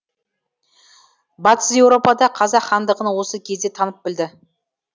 батыс еуропа да қазақ хандығын осы кезде танып білді